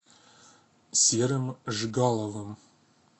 серым жигаловым